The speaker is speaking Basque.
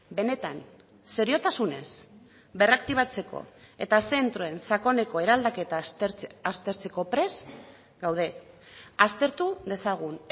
benetan seriotasunez berraktibatzeko eta zentroen sakoneko eraldaketa aztertzeko prest gaude aztertu dezagun